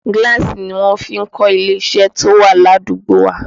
Gíláàsì ni wọ́n fi kọ́ ilé iṣẹ́ tí ó wà ní àdúgbò wa